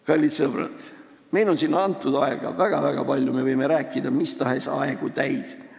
Kallid sõbrad, meile on siin antud väga-väga palju aega, me võime mis tahes aegu täis rääkida.